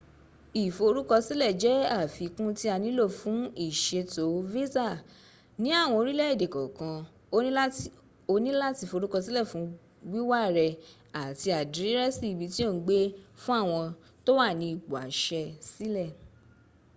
ìforúkọsílẹ̀ jẹ́ àfikún tí a nílò fún ìṣètò visa. ní àwọn orílẹ̀ èdè kànkan o ní láti forúkọsílẹ̀ fún wíwá rẹ àti àdírẹ́sì ibi tí ò ń gbé fún àwọn tó wà ní ipò àṣẹ sílẹ̀